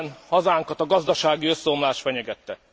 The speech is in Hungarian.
ben hazánkat a gazdasági összeomlás fenyegette.